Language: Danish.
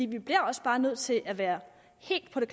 vi bliver også bare nødt til at være helt på det